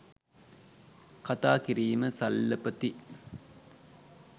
කථා කිරීම සල්ලපති ,